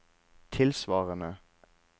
tilsvarende